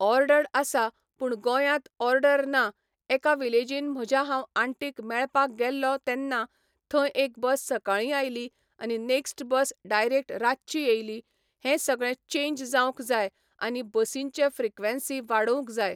Ordered आसा पूण गोंयांत ऑर्डर ना एका विलेजीन म्हज्या हांव आंटीक मेळपाक गेल्लो तेन्ना थंय एक बस सकाळी आयली आनी नॅक्स्ट बस डायरेक्ट रातची येयली हें सगळें चेंज जावंक जाय आनी बसींचें फ्रिक्वेंसी वाडोवंक जाय.